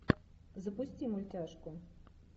запусти мультяшку